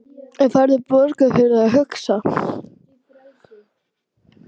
En ekki færðu borgað fyrir að hugsa?